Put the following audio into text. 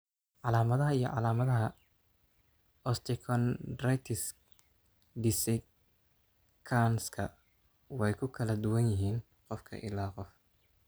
Calaamadaha iyo calaamadaha osteochondritisks dissecanska way ku kala duwan yihiin qof ilaa qof.